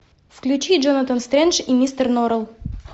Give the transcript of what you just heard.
включи джонатан стрендж и мистер норрелл